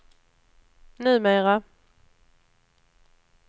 numera